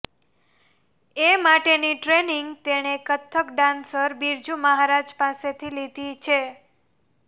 એ માટેની ટ્રેઇનિંગ તેણે કથક ડાન્સર બિરજુ મહારાજ પાસેથી લીધી છે